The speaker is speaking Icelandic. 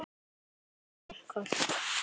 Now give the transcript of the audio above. Þóra frænka.